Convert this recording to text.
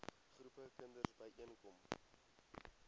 groepe kinders byeenkom